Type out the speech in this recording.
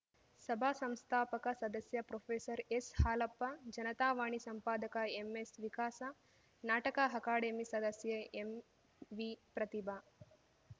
ಸಭಾ ಸಂಸ್ಥಾಪಕ ಸದಸ್ಯ ಪ್ರೊಫೆಸರ್ಎಸ್‌ಹಾಲಪ್ಪ ಜನತಾವಾಣಿ ಸಂಪಾದಕ ಎಂಎಸ್‌ವಿಕಾಸ ನಾಟಕ ಅಕಾಡೆಮಿ ಸದಸ್ಯೆ ಎಂವಿಪ್ರತಿಭಾ